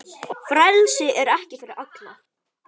Frelsi er ekki fyrir alla.